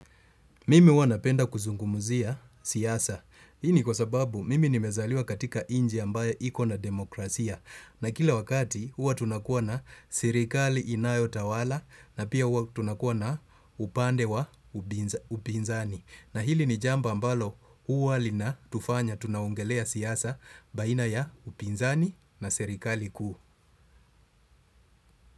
Mimi huwa napenda kuzungumzia siasa. Hii ni kwa sababu mimi nimezaliwa katika nchi ambaye ikona demokrasia. Na kila wakati huwa tunakuwa na serikali inayo tawala na pia huwa tunakuwa na upande wa upinzani. Na hili ni jambo ambalo huwa linatufanya tunaongelea siasa baina ya upinzani na serikali kuu.